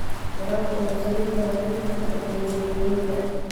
Waraabka wuxuu saameyn karaa xiriirka ka dhexeeya beeralayda.